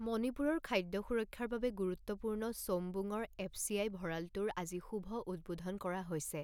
মণিপুৰৰ খাদ্য সুৰক্ষাৰ বাবে গুৰুত্বপূৰ্ণ চৌউমবুং ৰ এফচিআই ভড়ালটোৰ আজি শুভ উদ্বোধন কৰা হৈছে।